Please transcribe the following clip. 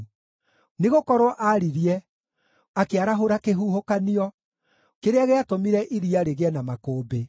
Nĩgũkorwo aaririe, akĩarahũra kĩhuhũkanio kĩrĩa gĩatũmire iria rĩgĩe na makũmbĩ.